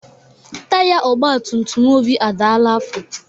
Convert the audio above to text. Taiya ogbatumtum Obi adala afọ.